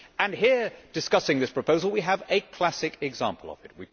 Here, discussing this proposal, we have a classic example of it.